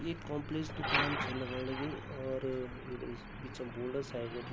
एक काम्प्लेक्स दुकान छ लगण लगीं और ये पर बिच म बोर्ड साइड बटि --